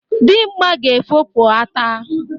Dimgba ga-efopụ ata.